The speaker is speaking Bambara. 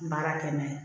Baara kɛ n'a ye